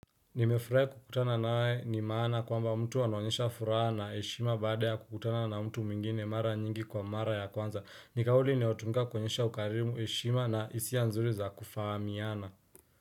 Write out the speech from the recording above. Nimefurahi kukutana na we ni maana kwamba mtu anonyesha furaha na heshima baada ya kukutana na mtu mwingine mara nyingi kwa mara ya kwanza. Nikauli inayo tumika kuonyesha ukarimu heshima na hisia nzuri za kufaamiana.